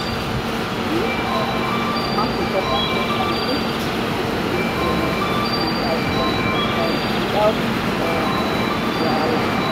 e um mark important deadlines make e fit pay to renew im licence on time without um wahala.